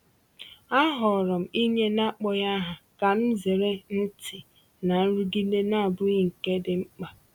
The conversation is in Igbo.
Ahọọrọ m inye n’akpọghị aha ka m zere ntị na nrụgide na-abụghị nke dị mkpa.